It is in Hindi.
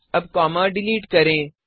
अब कॉमा डिलिट करें